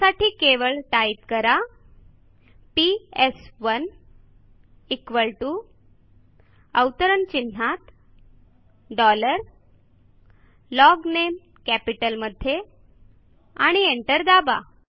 त्यासाठी केवळ टाईप करा PS one equal to within quotes dollar logname कॅपिटलमध्ये आणि एंटर दाबा